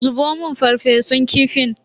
Zubo mun farfesun kifin.